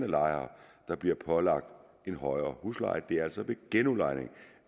lejere der bliver pålagt en højere husleje det er altså ved genudlejning